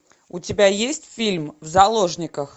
у тебя есть фильм в заложниках